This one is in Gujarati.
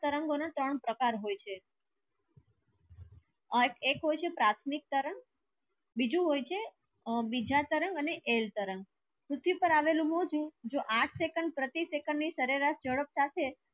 તરંગો ના ત્રણ પ્રકાર હોય છે એક હોય છે પ્રથમિક તરંગ બીજુ હોય છે બીજા તરંગ અને એલ તરંગ કરવેલ નુ સુ થયુ જો આઠ second પ્રતિ second ની સારેસર ચડોતર છે